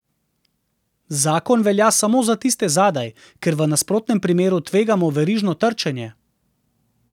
Zakon velja samo za tiste zadaj, ker v nasprotnem primeru tvegamo verižno trčenje.